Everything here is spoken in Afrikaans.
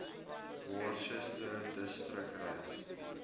worcester distrik reis